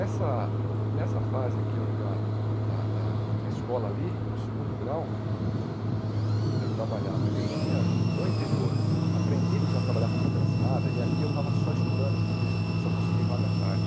nessa nessa fase que eu da da da da escola ali, no segundo grau, eu trabalhava... eu tinha vindo do interior, aprendido já a trabalhar com carteira assinada, e ali eu estava só estudando, porque só consegui vaga à tarde.